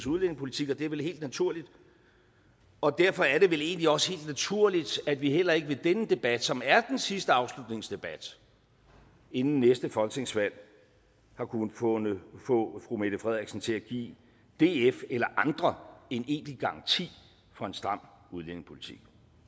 udlændingepolitik og det er vel helt naturligt og derfor er det egentlig også helt naturligt at vi heller ikke i denne debat som er den sidste afslutningsdebat inden næste folketingsvalg har kunnet kunnet få fru mette frederiksen til at give df eller andre en egentlig garanti for en stram udlændingepolitik